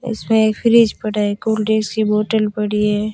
इसमें एक fridge bottle पड़ी है।